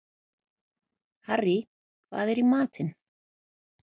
Harrý, hvað er í matinn?